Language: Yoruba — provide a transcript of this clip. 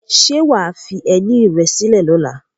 Ṣé wà á fi ẹní rẹ sílẹ̀ lọ́la?